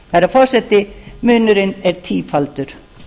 herra forseti munurinn er tífaldur